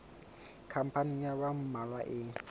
khampani ya ba mmalwa e